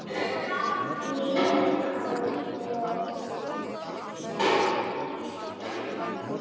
Lífið hafði breyst.